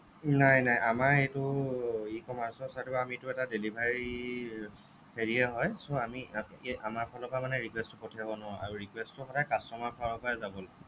নাই নাই আমাৰ এইটো আমাৰ এইটো e commerce ৰ side ৰ পৰা আমিটো এটা delivery ৰ হেৰিয়ে হ'য় so আমি আমাৰ ফালৰ পৰা মানে request টো পঠিয়াব নোৱাৰো আৰু request টো সদায় customer ফালৰ পৰাই যাব